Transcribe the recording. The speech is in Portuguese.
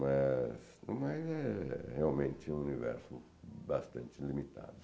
Mas, mas é realmente é um universo bastante limitado.